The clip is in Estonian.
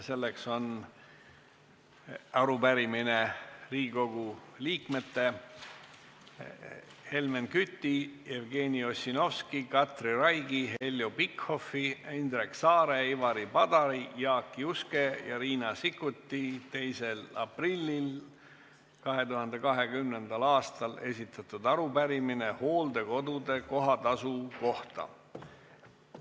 See on Riigikogu liikmete Helmen Küti, Jevgeni Ossinovski, Katri Raigi, Heljo Pikhofi, Indrek Saare, Ivari Padari, Jaak Juske ja Riina Sikkuti 2. aprillil 2020. aastal esitatud arupärimine hooldekodude kohatasu kohta.